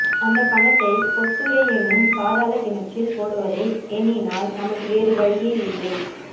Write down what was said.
அந்தப்பணத்தை பொத்துறை என்னும் பாதாளக்கிணறில் போடுவதை எண்ணினால் நமக்கு வேறுவழியே இல்லை